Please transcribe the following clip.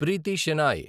Preethi Shenoy